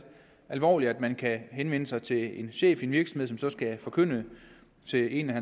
alvorlige konsekvenser at man kan henvende sig til en chef i en virksomhed som så skal forkynde til en af